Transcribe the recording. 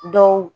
Dɔw